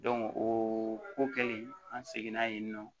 o ko kɛlen an seginna yen nɔ